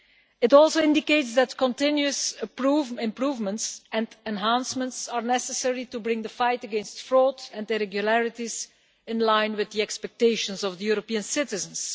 It also indicates that continuous improvements and enhancements are necessary to bring the fight against fraud and irregularities in line with the expectations of the European citizens.